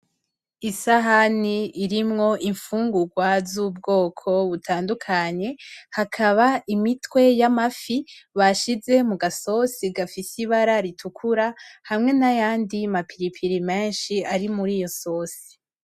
Isahani irimwo imfungurwa z'ubwoko butandukanye, hakaba imitwe y'amafi bashize mu gasosi gafise ibara ritukura hamwe n'ayandi ma pilipili menshi ari muri iyo sosi.